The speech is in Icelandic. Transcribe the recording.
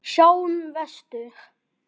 Sjáum vestur.